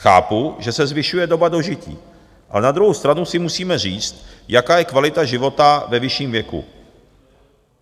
Chápu, že se zvyšuje doba dožití, ale na druhou stranu si musíme říct, jaká je kvalita života ve vyšším věku.